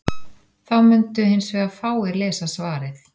Þá mundu hins vegar fáir lesa svarið.